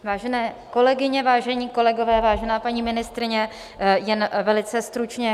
Vážené kolegyně, vážení kolegové, vážená paní ministryně, jen velice stručně.